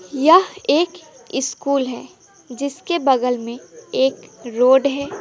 यह एक स्कूल है जिसके बगल में एक रोड है।